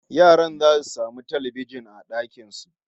Yaran zasu samu talbijin a dakin su